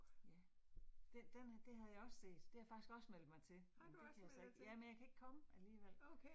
Ja. Den den det havde jeg også set. Det havde jeg faktisk også meldt mig til, men det kan jeg så ikke. Ja, men jeg kan ikke komme alligevel